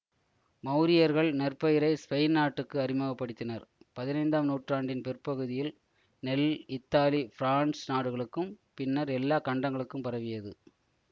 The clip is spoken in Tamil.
மவுரியர்கள் நெற்பயிரை ஸ்பெயின் நாட்டுக்கு அறிமுக படுத்தினர் பதினைந்தாம் நூற்றாண்டின் பிற்பகுதியில் நெல் இத்தாலி பிரான்ஸ் நாடுகளுக்கும் பின்னர் எல்லா கண்டங்களுக்கும் பரவியது